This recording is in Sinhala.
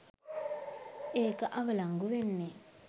ඒක අවලංගු වෙන්නෙ